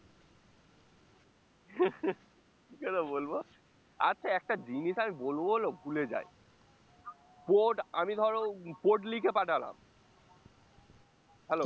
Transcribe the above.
কি করে বলবো? আচ্ছা একটা জিনিস আমি বলবো বলবো ভুলে যাই port আমি ধরো port লিখে পাঠালাম hello